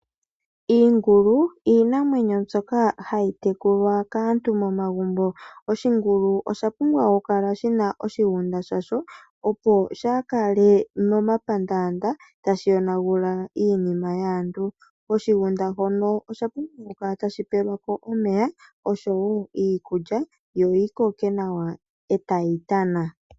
Iingulu, Iinamwenyo mbyoka hayi tekulwa kaantu momagumbo, Oshingulu oshapumba okukala shina oshigunda shasho, Opo shakale momapandanda tashi yonangula iinima yaantu, Koshigunda hono oshapumbwa okukala tashi pelwako omeya oshowo iikulya yo yikoke nawa etayi tana.